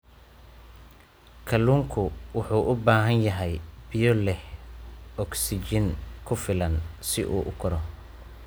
Kalluunku wuxuu u baahan yahay biyo leh ogsijiin ku filan si uu u koro.